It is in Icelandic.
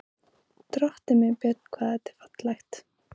Drottinn minn, Björn, hvað þetta er fallegt!